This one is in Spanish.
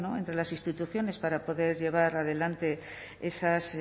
entre las instituciones para poder llevar adelante esas